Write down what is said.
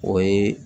O ye